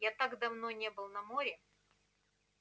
я так давно не был на море